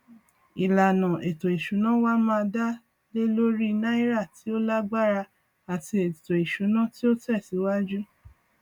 ìlànà ètò ìsúná wá má dá lé lórí náírà tí ó lágbára àti ètò ìsúná tí ó tẹ síwájú